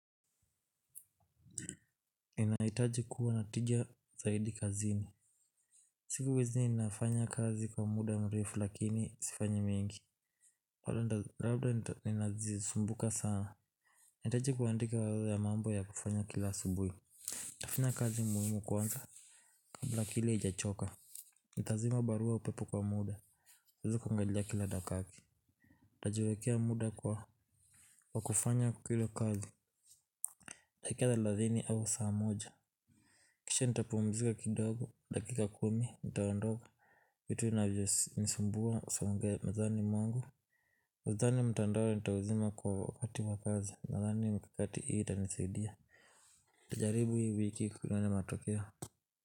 Inaitaji kuwa natijia zaidi kazini. Siku hizi ninafanya kazi kwa muda mrefu lakini sifanyi mingi labda ninazisumbuka sana. Nahitaji kuandika wala ya mambo ya kufanya kila subuhi. Nitafinya kazi muhimu kwanza kabla akili ijachoka. Nitazima barua pepe kwa muda. Uzu kuangalia kila dakaki. Ntajiwekea muda kwa kufanya kila kazi. Nitakia za lazini au saa moja. Kisha nitapumzika kidogo. Dakika kumi, nitaondoa, kitu navyonisimbua, usawangea mezani mwangu nadhani mtandao nitauzima kwa wakati wa kazi, nadhani mikakati hii itanisaidia nitajaribu hii wiki kuona matokeo.